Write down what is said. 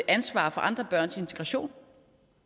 ansvar for andre børns integration